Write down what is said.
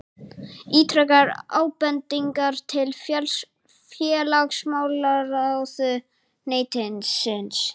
Ítrekar ábendingar til félagsmálaráðuneytisins